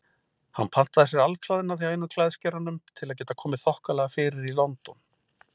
Hann pantaði sér alklæðnað hjá einum klæðskeranum til að geta komið þokkalega fyrir í London.